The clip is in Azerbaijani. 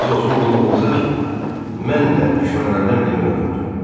Ərz olsun qulluğunuza ki, mən də düşmənlərdən birini öldürdüm.